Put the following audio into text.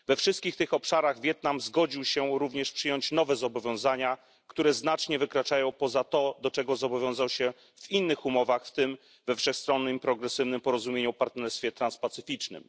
We wszystkich tych obszarach Wietnam zgodził się również przyjąć nowe zobowiązania, które znacznie wykraczają poza to, do czego zobowiązał się w innych umowach, w tym we wszechstronnym i progresywnym porozumieniu o partnerstwie transpacyficznym.